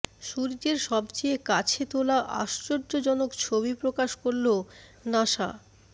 সূর্যের সবচেয়ে কাছে তোলা আশ্চর্যজনক ছবি প্রকাশ করল নাসা